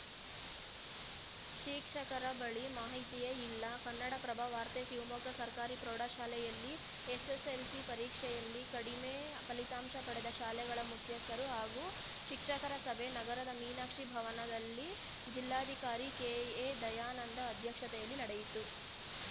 ಶೀಕ್ಷಕರ ಬಳಿ ಮಾಹಿತಿಯೇ ಇಲ್ಲ ಕನ್ನಡಪ್ರಭ ವಾರ್ತೆ ಶಿವಮೊಗ್ಗ ಸರ್ಕಾರಿ ಪ್ರೌಢ ಶಾಲೆಯಲ್ಲಿ ಎಸ್‌ಎಸ್‌ಎಲ್‌ಸಿ ಪರೀಕ್ಷೆಯಲ್ಲಿ ಕಡಿಮೆ ಫಲಿತಾಂಶ ಪಡೆದ ಶಾಲೆಗಳ ಮುಖ್ಯಸ್ಥರು ಹಾಗೂ ಶಿಕ್ಷಕರ ಸಭೆ ನಗರದ ಮೀನಾಕ್ಷಿ ಭವನದಲ್ಲಿ ಜಿಲ್ಲಾಧಿಕಾರಿ ಕೆ ಎ ದಯಾನಂದ ಅಧ್ಯಕ್ಷತೆಯಲ್ಲಿ ನಡೆಯಿತು